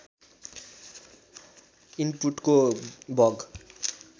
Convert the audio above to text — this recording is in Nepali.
इन्पुटको बग